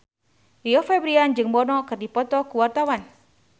Rio Febrian jeung Bono keur dipoto ku wartawan